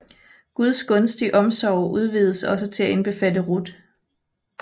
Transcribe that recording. Guds gunstige omsorg udvides til også at indbefatte Ruth